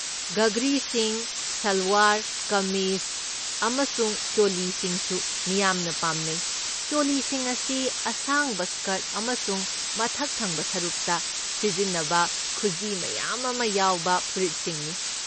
ꯘꯘ꯭ꯔꯤꯁꯤꯡ, ꯁꯜꯋꯥꯔ ꯀꯃꯤꯖ ꯑꯃꯁꯨꯡ ꯆꯣꯂꯤꯁꯤꯡꯁꯨ ꯃꯤꯌꯥꯝꯅ ꯄꯥꯝꯅꯩ꯫ ꯆꯣꯂꯤꯁꯤꯡ ꯑꯁꯤ ꯑꯁꯥꯡꯕ ꯁ꯭ꯀꯔꯠ ꯑꯃꯁꯨꯡ ꯃꯊꯛ ꯊꯪꯕ ꯁꯔꯨꯛꯇ ꯁꯤꯖꯤꯟꯅꯕ ꯈꯨꯖꯤ ꯃꯌꯥꯝ ꯑꯃ ꯌꯥꯎꯕ ꯐꯨꯔꯤꯠꯁꯤꯡꯅꯤ꯫